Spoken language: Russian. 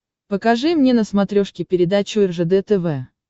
покажи мне на смотрешке передачу ржд тв